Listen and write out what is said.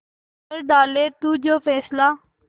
कर डाले तू जो फैसला